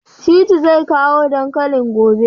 Shittu zai kawo dankalin gobe?